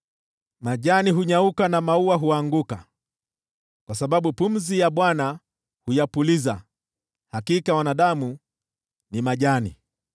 Majani hunyauka na maua huanguka, kwa sababu pumzi ya Bwana huyapuliza. Hakika wanadamu ni majani.